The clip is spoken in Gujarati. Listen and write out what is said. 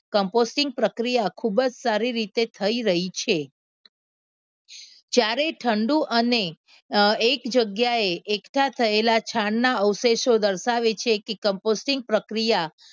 કમ્પોસ્ટિક પ્રક્રિયા ખૂબ જ સારી રીતે થઈ રહી છે જ્યારે ઠંડુ અને એક જગ્યાએ એકઠા થયેલા છાણ ના અવશેષો દર્શાવે છે કે કમ્પોસ્ટિક પ્રક્રિયા